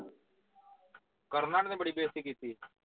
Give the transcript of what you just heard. ਕਰਨ ਔਨਾ ਨੇ ਬੜੀ ਬੇਸਤੀ ਕੀਤੀ